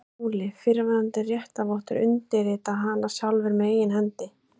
SKÚLI: Fyrrverandi réttarvottar undirrita hana sjálfir með eigin hendi.